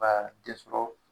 Baa den sɔrɔ